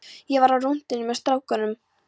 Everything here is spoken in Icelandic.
Ég var á rúntinum með strákunum.